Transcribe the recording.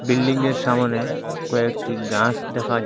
বিল্ডিংয়ের সামোনে কয়েকটি গাস দেখা যা--